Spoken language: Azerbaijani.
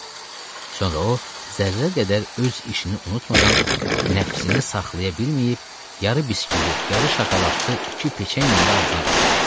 Sonra o zərrə qədər öz işini unutmadan nəfsini saxlaya bilməyib yar-ı biskvit, yar-ı şokoladlı iki peçenyada ağzına basdı.